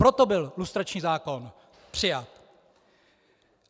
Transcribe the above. Proto byl lustrační zákon přijat.